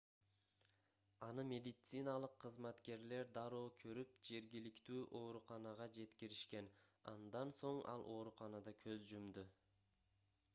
аны медициналык кызматкерлер дароо көрүп жергиликтүү ооруканага жеткиришкен андан соң ал ооруканада көз жумду